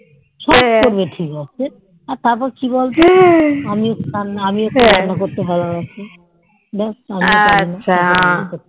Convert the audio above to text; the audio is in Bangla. সব করবে ঠিক আছে আর তারপর কি বলতো আমিও একটু রান্না করতে ভালোবাসি